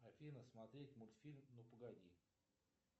афина смотреть мультфильм ну погоди